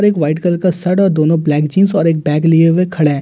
और एक white colour का शर्ट और दोनों ब्लैक जींस और एक बैग लिए हुए खड़े हैं।